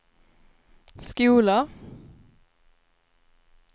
skola